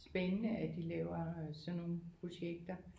Spændende at de laver sådan nogle projekter